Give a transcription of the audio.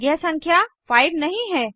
यह संख्या 5 नहीं है